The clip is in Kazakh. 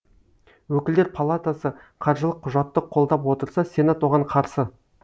өкілдер палатасы қаржылық құжатты қолдап отырса сенат оған қарсы